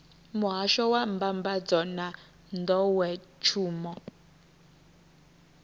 muhasho wa mbambadzo na nḓowetshumo